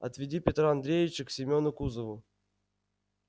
отведи петра андреича к семёну кузову